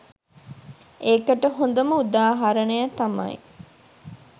ඒකට හොඳම උදාහරණය තමයි